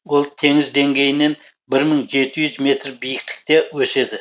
ол теңіз деңгейінен бір мың жеті жүз метр биіктікте өседі